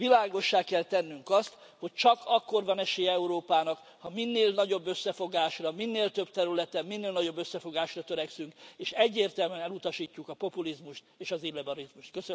Világossá kell tennünk azt, hogy csak akkor van esélye Európának, ha minél nagyobb összefogásra, minél több területen, minél nagyobb összefogásra törekszünk és egyértelmű elutasítjuk a populizmust és az illiberalizmust.